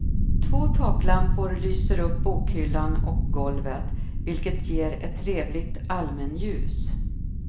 Två taklampor lyser upp bokhyllan och golvet, vilket ger ett trevligt allmänljus.